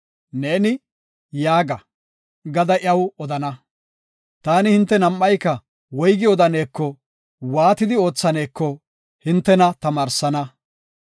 Neeni, ‘Yaaga’, gada iyaw odana. Taani hinte nam7ayka woygi odanekonne waatidi oothaneko hintena tamaarsana.